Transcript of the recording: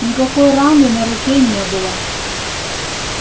никакой раны на руке не было